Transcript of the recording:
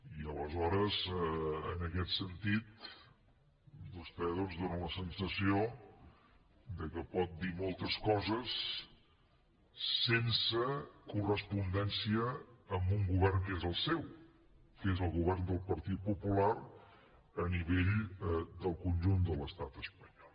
i aleshores en aquest sentit vostè doncs dóna la sensació que pot dir moltes coses sense correspondència amb un govern que és el seu que és el govern del partit popular a nivell del conjunt de l’estat espanyol